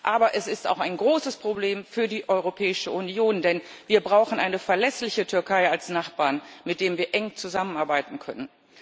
Aber es ist auch ein großes Problem für die Europäische Union, denn wir brauchen eine verlässliche Türkei als Nachbarn, mit dem wir eng zusammenarbeiten können.